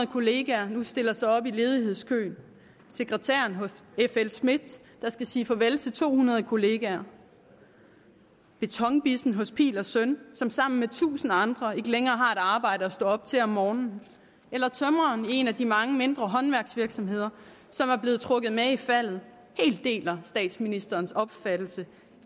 kollegaer nu stiller sig op i ledighedskøen sekretæren hos fl smidth der skal sige farvel til to hundrede kollegaer betonbissen hos phil søn som sammen med tusinde andre ikke længere har et arbejde at stå op til om morgenen eller tømreren i en af de mange mindre håndværksvirksomheder som er blevet trukket med i faldet helt deler statsministerens opfattelse